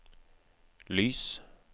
lys